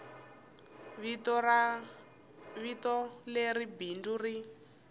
ri vito leri bindzu ri